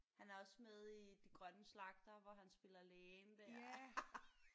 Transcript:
Han er også med i de grønne slagtere hvor han spiller lægen der